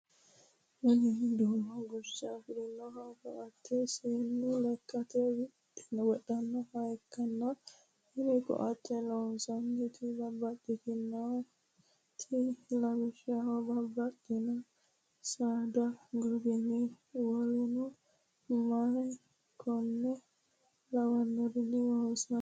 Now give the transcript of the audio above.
Kuni duumunna guche afirinno koatte seennu lekkate wodhannota ikkitanna tini koatteno loosantannohu babaxinnorichinit lawishshaho babaxitinno saada goginni wolleno my konne lawannorini loosantanno.